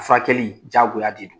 Furakɛli diyagoya de don.